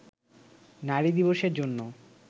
নারী দিবসের জন্য